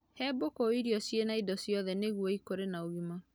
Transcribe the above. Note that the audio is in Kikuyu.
He mbũkũ irio ciĩna indo ciothe nĩguo ikũre na ũgima